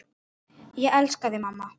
Ég elska þig, mamma.